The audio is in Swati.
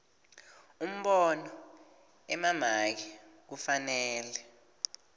umbono emamaki kufanele